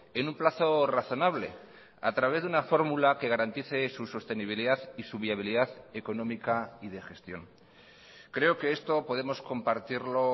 en un plazo razonable a través de una fórmula que garantice su sostenibilidad y su viabilidad económica y de gestión creo que esto podemos compartirlo